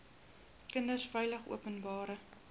kinders veilig openbare